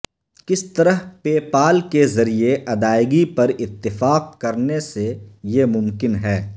کس طرح PayPal کے ذریعے ادائیگی پر اتفاق کرنے سے یہ ممکن ہے